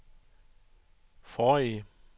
forrige